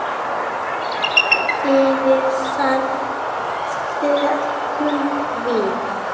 Fyrir það þökkum við.